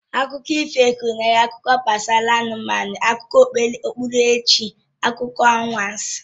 Akụkọ ifo gụnyere akụkọ gbasara anụmanụ, akụkọ okpukperechi, akụkọ anwansị wdg